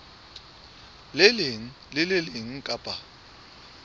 leng le le leng kapa